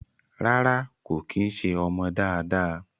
Rárá kò kí ń ṣé ọmọ dáadáa